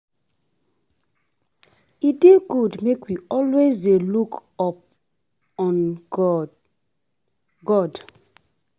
E dey good make we always dey look up on God God